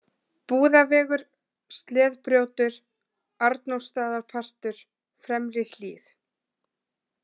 Búðavegur, Sleðbrjótur, Arnórsstaðapartur, Fremri-Hlíð